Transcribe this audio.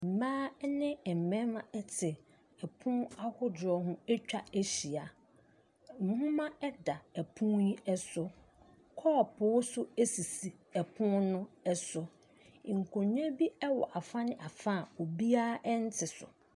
Mmaa ne mmarima te pono ahodoɔ ho atwa ahyia. Nwoma da pono yi so. Kɔɔpoo nso sisi pono no so. Nkonnwa bi wɔ afane afa a obiara nte so.